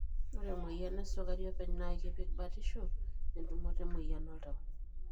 ore emoyian esukuri openy na ikipik batisho etumoto emoyian oltau.